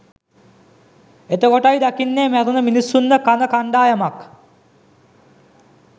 එතකොටයි දකින්නේ මැරුණ මිනිස්සුන්ව කන කණ්ඩායමක්